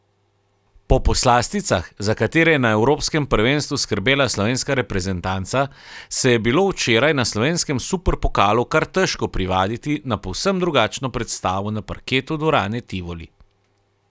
Po poslasticah, za katere je na evropskem prvenstvu skrbela slovenska reprezentanca, se je bilo včeraj na slovenskem superpokalu kar težko privaditi na povsem drugačno predstavo na parketu dvorane Tivoli.